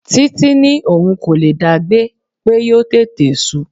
Titi ní òun kò lè dá gbé, pé yóò tètè su.